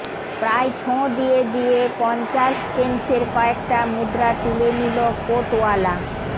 প্রায় ছোঁ দিয়ে দিয়ে পঞ্চাশ পেন্সের কয়েকটা মুদ্রা তুলে নিল কোটওয়ালা